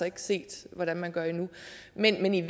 ikke set hvordan man gør det men i